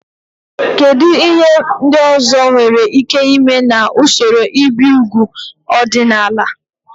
Kedu ihe ndị ọzọ nwere ike ime na usoro ibi úgwù ọdịnala?